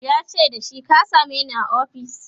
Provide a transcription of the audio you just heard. yace da shi " ka sameni a ofis!"